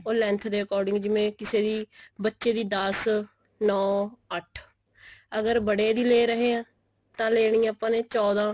ਉਹ length ਦੇ according ਜਿਵੇਂ ਕਿਸੇ ਬੱਚੇ ਦੀ ਦੱਸ ਨੋ ਅੱਠ ਅਗਰ ਬੜੇ ਦੀ ਲੇ ਰਹੇ ਹਾਂ ਤਾਂ ਆਪਾਂ ਨੇ ਲੇਨੀ ਹੈ ਚੋਦਾ